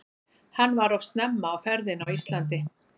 Hann var of snemma á ferðinni á Íslandi.